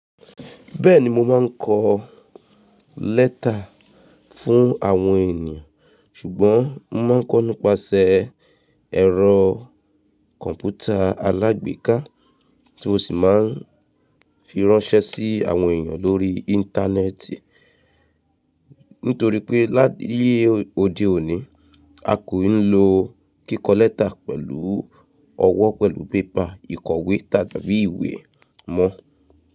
Bẹ́ẹ̀ni mo máa ń kọ lẹ́tà fún àwọn ènìyàn, ṣùgbọ́n mo máa ń kọ́ nípasẹ̀ ẹ̀rọ kọ̀ǹpútà alágbèéká tí ó sì máa ń fi ránṣẹ́ sí àwọn ènìyàn lórí Íńtánẹ́ẹ̀tì. Nítorí pé láyé òde òní, a kò i lo kíkọ lẹ́tà pẹ̀lú ọwọ́ pẹ̀lú pépà ìkọ̀wé tàbí ìwé mọ́.